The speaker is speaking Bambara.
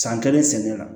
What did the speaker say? San kelen sɛmɛnen na